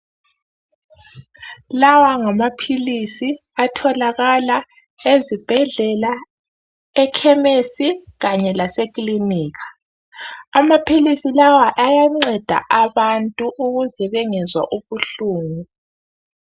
Lawa ngamaphilisi atholakala ezibhedlela ekhemesi kanye lase klinika. Amaphilisi lawa ayanceda abantu ukuze bengezwa ubuhlungu.